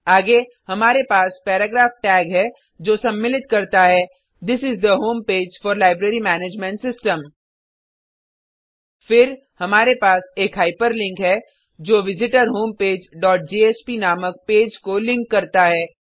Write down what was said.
आगे हमारे पास पैराग्राफ टैग है जो सम्मिलित करता है this is the home page for library management system फिर हमारे पास एक हाइपरलिंक है जो विजिटरहोमपेज डॉट जेएसपी नामक पेज को लिंक करता है